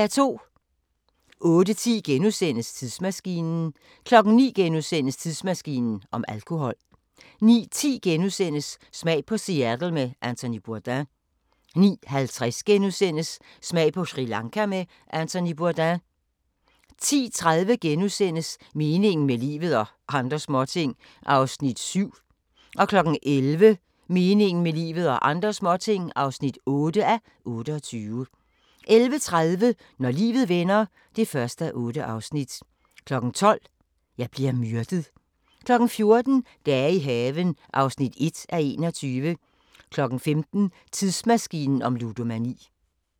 08:10: Tidsmaskinen * 09:00: Tidsmaskinen om alkohol * 09:10: Smag på Seattle med Anthony Bourdain * 09:50: Smag på Sri Lanka med Anthony Bourdain * 10:30: Meningen med livet – og andre småting (7:28)* 11:00: Meningen med livet – og andre småting (8:28) 11:30: Når livet vender (1:8) 12:00: Jeg bliver myrdet 14:00: Dage i haven (1:21) 15:00: Tidsmaskinen om ludomani